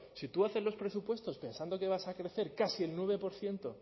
si tú haces los presupuestos pensando que vas a crecer casi el nueve por ciento